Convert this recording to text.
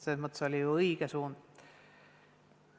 Selles mõttes oli see ju õige suund.